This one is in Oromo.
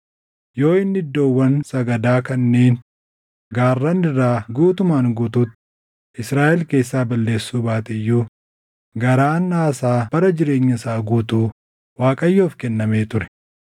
Yoo inni iddoowwan sagadaa kanneen gaarran irraa guutumaan guutuutti Israaʼel keessaa balleessuu baate iyyuu garaan Aasaa bara jireenya isaa guutuu Waaqayyoof kennamee ture.